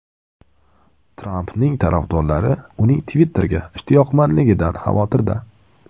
Trampning tarafdorlari uning Twitter’ga ishtiyoqmandligidan xavotirda.